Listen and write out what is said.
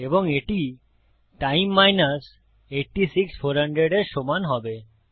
এবং এটি time minus 86400 এর সমান হবে